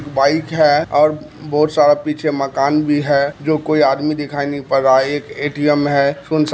bike है और भोत सारा पीछे मकान भी है जो कोई आदमी दिखाई नि पड़ रहा है एक ए.टी.एम है सुनसान --